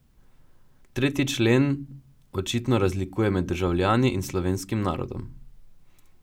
Tretji člen očitno razlikuje med državljani in slovenskim narodom.